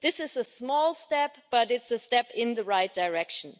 This is a small step, but it's a step in the right direction.